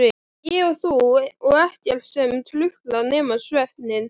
Ég og þú og ekkert sem truflar nema svefninn.